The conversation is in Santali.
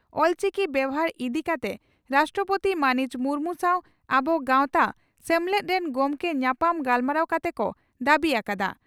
ᱚᱞᱪᱤᱠᱤ ᱵᱮᱵᱷᱟᱨ ᱤᱫᱤ ᱠᱟᱛᱮ ᱨᱟᱥᱴᱨᱚᱯᱳᱛᱤ ᱢᱟᱹᱱᱤᱡ ᱢᱩᱨᱢᱩ ᱥᱟᱣ ᱟᱵᱚ ᱜᱟᱣᱛᱟ/ᱥᱮᱢᱞᱮᱫ ᱨᱤᱱ ᱜᱚᱢᱠᱮ ᱧᱟᱯᱟᱢ ᱜᱟᱞᱢᱟᱨᱟᱣ ᱠᱟᱛᱮ ᱠᱚ ᱫᱟᱵᱤ ᱟᱠᱟᱫᱼᱟ ᱾